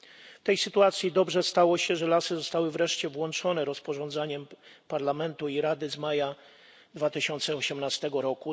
W tej sytuacji dobrze stało się, że lasy zostały wreszcie włączone rozporządzeniem Parlamentu i Rady z maja 2018 r.